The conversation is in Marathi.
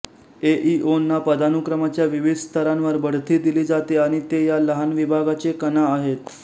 एईओंना पदानुक्रमाच्या विविध स्तरांवर बढती दिली जाते आणि ते या लहान विभागाचे कणा आहेत